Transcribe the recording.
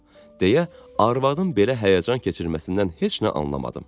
Deyə, arvadın belə həyəcan keçirməsindən heç nə anlamadım.